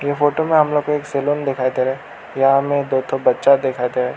ये फोटो में हम लोग को एक सैलून दिखाई दे रहा हैं यहां में दो ठो बच्चा दिखाई दे रहा है।